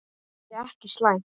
SOPHUS: Við vitum það ekki.